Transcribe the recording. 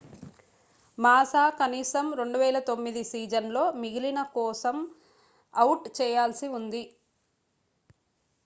మాసా కనీసం 2009 సీజన్ లో మిగిలిన కోసం అవుట్ చేయాల్సి ఉంది